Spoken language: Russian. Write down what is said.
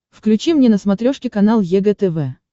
включи мне на смотрешке канал егэ тв